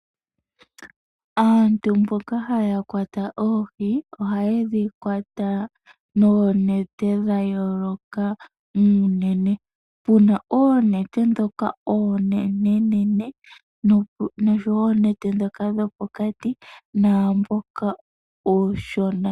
Aantu mboka haya kwata oohi, oha yi dhi kwata noonete dha yooloka muunene. Puna oonete ndhoka oonenene nosho woo oonete dhoka dhopokati, naamboka uushona.